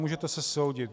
Můžete se soudit.